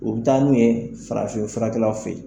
U bɛ taa n'u ye farafinkɛlaw fɛ